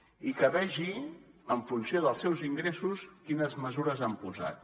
i que vegi en funció dels seus ingressos quines mesures han posat